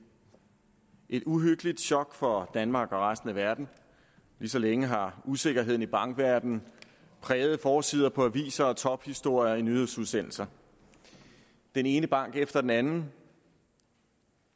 et uhyggeligt chok for danmark og resten af verden lige så længe har usikkerheden i bankverdenen præget forsider på aviser og tophistorier i nyhedsudsendelser den ene bank efter den anden